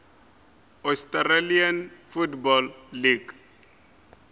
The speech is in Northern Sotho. australian football league